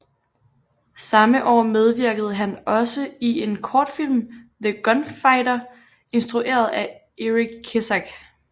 Samme år medvirkede han også i en kortfilm The Gunfighter instrueret af Eric Kissack